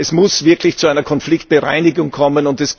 Es muss wirklich zu einer Konfliktbereinigung kommen.